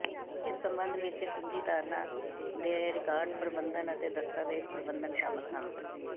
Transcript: ਇਸ ਸਬੰਧ ਵਿੱਚ ਕੁੰਜੀ ਧਾਰਨਾ ਦੇ ਰਿਕਾਰਡ ਪ੍ਰਬੰਧਨ ਅਤੇ ਦਸਤਾਵੇਜ਼ ਪ੍ਰਬੰਧਨ ਸ਼ਾਮਲ ਹਨ